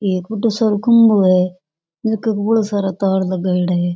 एक बढ़ो सारो खम्बो है जका के बौला सारा तार लगाईड़ा है।